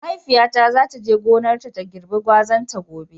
Mahaifiyata za ta je gonarta ta girbe gwazan ta gobe.